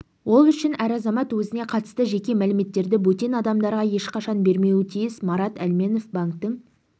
ол үшін әр азамат өзіне қатысты жеке мәліметтерді бөтен адамдарға ешқашан бермеуі тиіс марат әлменов банктің